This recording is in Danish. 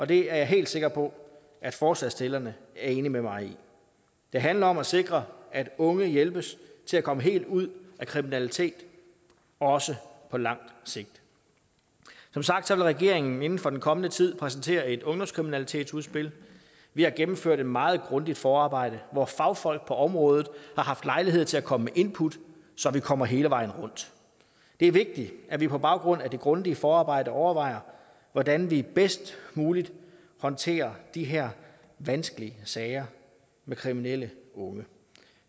det er jeg helt sikker på at forslagsstillerne er enige med mig i det handler om at sikre at unge hjælpes til at komme helt ud af kriminalitet også på langt sigt som sagt vil regeringen inden for den kommende tid præsentere et ungdomskriminalitetsudspil vi har gennemført et meget grundigt forarbejde hvor fagfolk på området har haft lejlighed til at komme med input så vi kommer hele vejen rundt det er vigtigt at vi på baggrund af det grundige forarbejde overvejer hvordan vi bedst muligt håndterer de her vanskelige sager med kriminelle unge